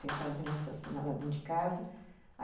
Tentaram me assassinar lá dentro de casa.